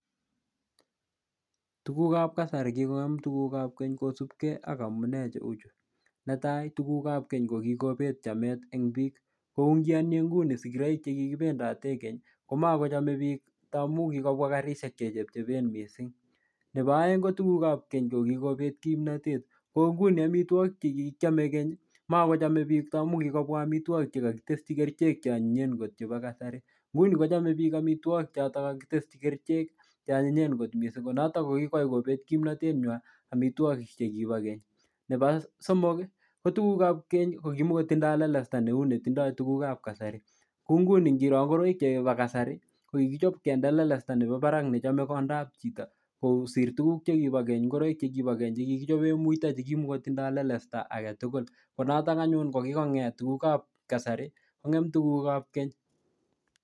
Tugukab kasari kikongem tugukab keny kosubkey ak amunee cheu chuu. Netai, ko tugukab keny ko kikobet chamet eng biik. Kou ngiyoni nguni sigiroik che kikibendate keny komakochame biik amu kikobwa karishek che chepchepen missing. Nebo aeng ko tugukab keny che kikobet kimnatet. Kou nguni amitwogik che kikiame keny, makochame biik amu kikobwa amitwogik che kakiteschi kerichek che anyinyen kot chebo kasari. Nguni kochome biik amitwogik chotok kakiteschi kerichek che anyinyen kot missing. Ko notok ko kikwai kobet kimantet nywaa amitwogik che kibo keny. Nebo somok, ko tugukab keny ko kimukotindoi lelesta neu netindoi tugukab kasari. Kou nguni ngiro ngoroik chebo kasari, ko kikichop kende lelesta nebo barak nechome kondab chito kosir tuguk che kibo keny, ngoroik che kibo keny che kikichope muito che kimukotindoi lelesta age tugul. Ko notok anyun ko kikong'et tugukab kasari kong'em tugukab keny.